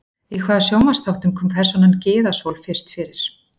Í hvaða sjónvarpsþáttum kom persónan Gyða Sól fyrst fyrir?